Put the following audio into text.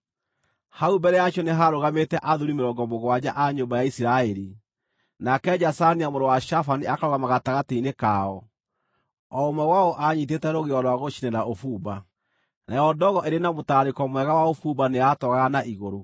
Hau mbere yacio nĩ haarũgamĩte athuuri mĩrongo mũgwanja a nyũmba ya Isiraeli, nake Jazania mũrũ wa Shafani akarũgama gatagatĩ-inĩ kao. O ũmwe wao aanyiitĩte rũgĩo rwa gũcinĩra ũbumba, nayo ndogo ĩrĩ na mũtararĩko mwega wa ũbumba nĩyatoogaga na igũrũ.